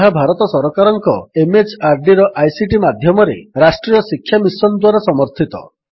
ଯାହା ଭାରତ ସରକାରଙ୍କ MHRDର ଆଇସିଟି ମାଧ୍ୟମରେ ରାଷ୍ଟ୍ରୀୟ ଶିକ୍ଷା ମିଶନ୍ ଦ୍ୱାରା ସମର୍ଥିତ